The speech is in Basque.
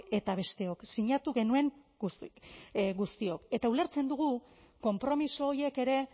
eta besteok sinatu genuen guztiok eta ulertzen dugu konpromiso horiek ere